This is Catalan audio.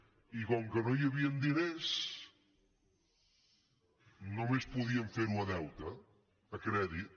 i com que no hi havien diners només podien ferho a deute a crèdit